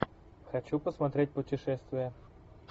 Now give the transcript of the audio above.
хочу посмотреть путешествия